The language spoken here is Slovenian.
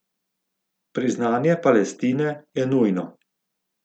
Priznanje Palestine je nujno.